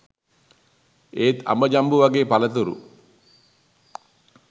ඒත් අඹ ජම්බු වගේ පලතුරු